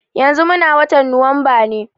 Yanzu muna watan Nuwamba ne.